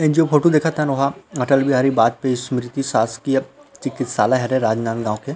ए जो फोटो देख़त हन तेन हा अटल बिहारी वाजपेई स्मृति चिकित्सालय हरे राजनंद गाँव के।